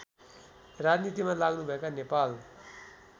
राजनीतिमा लाग्नुभएका नेपाल